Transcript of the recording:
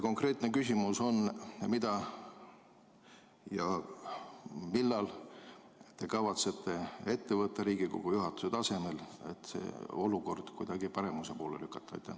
Konkreetne küsimus on: mida ja millal te kavatsete ette võtta Riigikogu juhatuse tasemel, et seda olukorda kuidagi paremuse poole lükata?